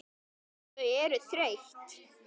Þau eru þreytt.